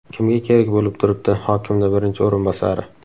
Kimga kerak bo‘lib turibdi, hokimni birinchi o‘rinbosari?